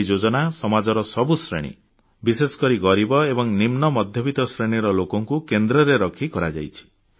ଏହି ଯୋଜନା ସମାଜର ସବୁ ଶ୍ରେଣୀ ବିଶେଷକରି ଗରିବ ଏବଂ ନିମ୍ନ ମଧ୍ୟବିତ୍ତ ଶ୍ରେଣୀର ଲୋକଙ୍କୁ କେନ୍ଦ୍ରରେ ରଖି କରାଯାଇଛି